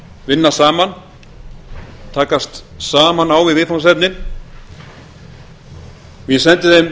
vinna saman takast saman á við viðfangsefnin og ég sendi þeim